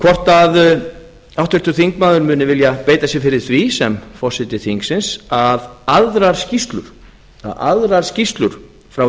hvort að háttvirtur þingmaður muni vilja beita sér fyrir því sem forseti þingsins að aðrar skýrslur frá